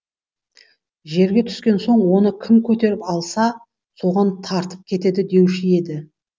жерге түскен соң оны кім көтеріп алса соған тартып кетеді деуші еді